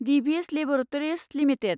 Divi's laboratories limited